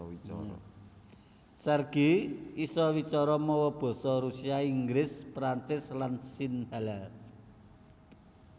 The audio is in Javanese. Sergey isa wicara mawa basa Rusia Inggris Prancis lan Sinhala